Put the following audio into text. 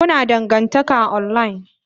Kuna dangantaka online?